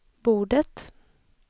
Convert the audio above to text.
bordet